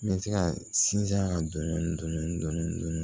N bɛ se ka sinsin a kan dɔndɔni dɔndɔni dɔndɔni